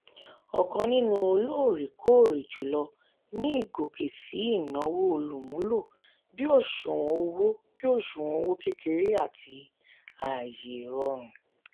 ọ̀kan nínú olóòrèkóòrè jùlọ ni ìgòkè síi ìnáwó olùmúlò bí òṣùwọ̀n owó bí òṣùwọ̀n owó kékeré àti ààyè ìrọ̀rùn.